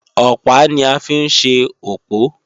Ọ̀pá ni a fi ń ṣe òpó